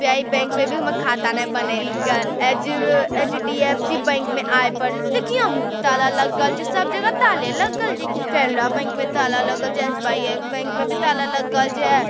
PI bank में भी हमर खाता नए बनेएल के एच ए एच_डी_एफ_सी बैंक में आए पड़ले देख यहु ताला लगल छै सब जगह ताले लगल छै की केरला बैंक में ताला लगल छै एस बाई बैंक में भी ताला लगल छै।